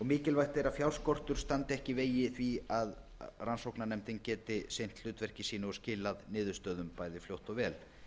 mikilvægt er að fjárskortur standi ekki í vegi þess að rannsóknarnefndin geti sinnt hlutverki sínu og skilað niðurstöðum bæði fljótt og vel